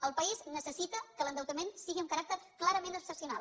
el país necessita que l’endeutament sigui amb caràcter clarament excepcional